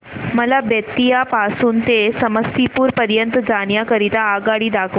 मला बेत्तीयाह पासून ते समस्तीपुर पर्यंत जाण्या करीता आगगाडी दाखवा